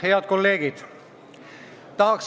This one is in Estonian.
Head kolleegid!